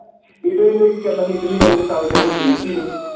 Italy ਨੂੰ ਕਿ ਕਹਿੰਦਾ ਸੀ ਇਟਲੀ ਆਲੀ ਪ੍ਰੀਤਿ ਨੂੰ